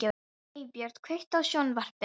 Eybjört, kveiktu á sjónvarpinu.